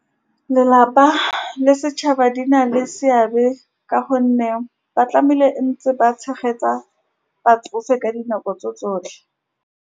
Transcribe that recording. Lelapa le setšhaba di na le seabe ka gonne ba tlamehile ntse ba tshegetsa batsofe ka dinako tso tsotlhe